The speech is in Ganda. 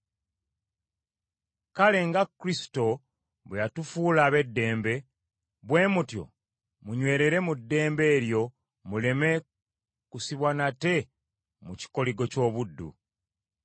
Kale nga Kristo bwe yatufuula ab’eddembe, bwe mutyo munywerere mu ddembe eryo muleme kusibwa nate mu kikoligo ky’obuddu.